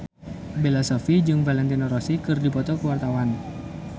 Bella Shofie jeung Valentino Rossi keur dipoto ku wartawan